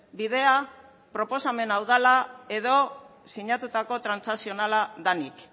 bidea proposamena hau dela edo sinatutako transakzionala denik